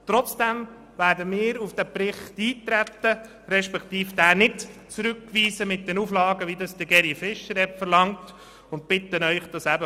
Trotzdem werden wir auf diesen Bericht eintreten und ihn nicht mit den von Grossrat Fischer verlangten Auflagen zurückweisen.